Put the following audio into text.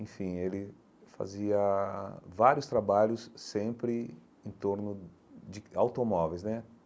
Enfim, ele fazia vários trabalhos sempre em torno de automóveis, né?